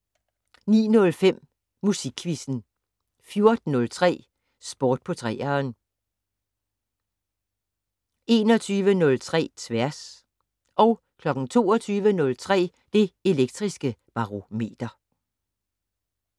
09:05: Musikquizzen 14:03: Sport på 3'eren 21:03: Tværs 22:03: Det Elektriske Barometer